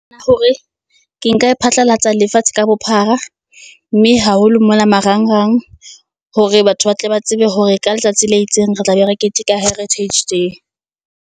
hore ke nka e phatlalatsa lefatshe ka bophara, mme haholo mona marangrang, hore batho ba tle ba tsebe hore ka letsatsi le itseng re tlabe re keteka heritage day.